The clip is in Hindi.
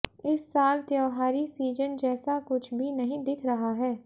इस साल त्योहारी सीजन जैसा कुछ भी नहीं दिख रहा है